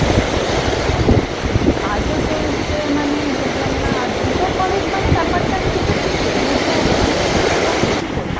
কাজও চলছে মানে বুঝলাম না। আর দুটো college মানে? ব্যাপারটা আমি কিন্তু ঠিক একটু বুঝে উঠলাম না। দুটো college কি করে?